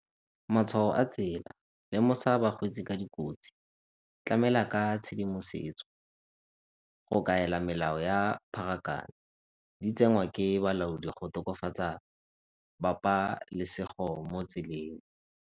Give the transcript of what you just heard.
Matshwao a tsela, lemosa bakgweetsi ka dikotsi, tlamela ka tshedimosetso, go kaela melao ya pharakano di tsengwa ke balaodi go tokafatsa bapalesego mo tseleng.